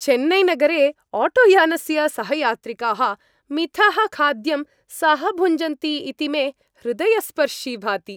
चेन्नैनगरे आटोयानस्य सहयात्रिकाः मिथः खाद्यं सहभुञ्जन्ति इति मे हृदयस्पर्शी भाति।